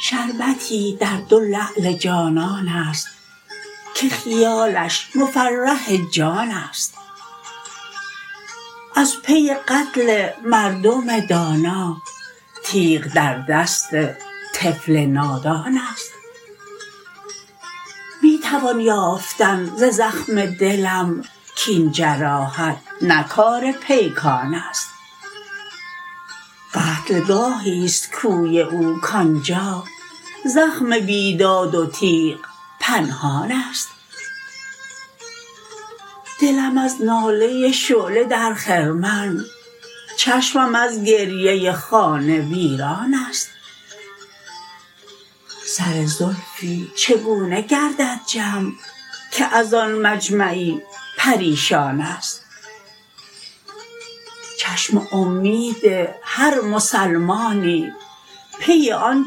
شربتی در دو لعل جانان است که خیالش مفرح جان است از پی قتل مردم دانا تیغ در دست طفل نادان است می توان یافتن ز زخم دلم کاین جراحت نه کار پیکان است قتل گاهی است کوی او کان جا زخم بیداد و تیغ پنهان است دلم از ناله شعله در خرمن چشمم از گریه خانه ویران است سر زلفی چگونه گردد جمع که از آن مجمعی پریشان است چشم امید هر مسلمانی پی آن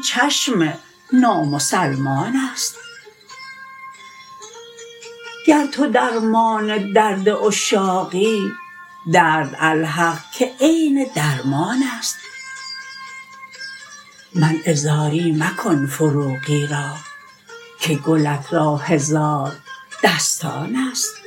چشم نامسلمان است گر تو درمان درد عشاقی درد الحق که عین درمان است منع زاری مکن فروغی را که گلت را هزار دستان است